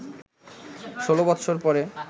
১৬ বৎসর পরে